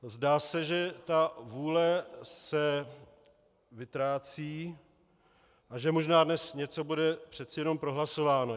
Zdá se, že ta vůle se vytrácí a že možná dnes něco bude přece jenom prohlasováno.